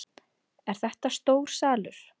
Er þetta stór salur?